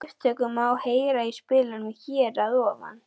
Upptöku má heyra í spilaranum hér að ofan.